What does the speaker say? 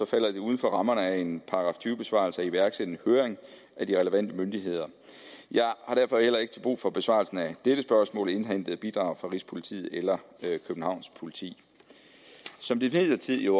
falder det uden for rammerne af en § tyve besvarelse at iværksætte en høring af de relevante myndigheder jeg har derfor heller ikke til brug for besvarelsen af dette spørgsmål indhentet bidrag fra rigspolitiet eller københavns politi som det imidlertid jo